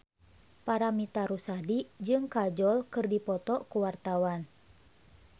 Paramitha Rusady jeung Kajol keur dipoto ku wartawan